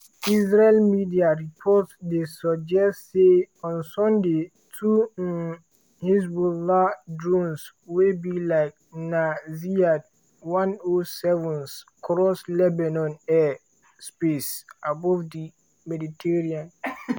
israeli media reports dey suggest say on sunday two um haezbollah drones wey be like na ziyad 107s cross lebanon air space above di mediterranean.